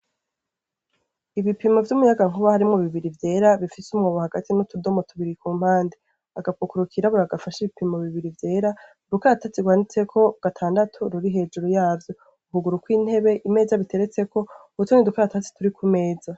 ibipimo vy'umuyagankuba harimwo bibiri vyera bifite umwobu hagati n'utudomo tubiri ku mpande agapukuru kirabura gafasha ibipimo bibiri vyera rukaratatsi rwanditseko gatandatu ruri hejuru yavyo ukuguru kw'intebe imeza biteretseko natuno dukaratasi turi ku meza